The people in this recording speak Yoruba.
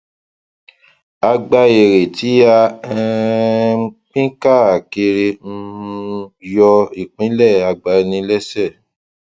a gba èrè tí a um pín káàkiri um yọ ìpínlẹ àgbaniléṣe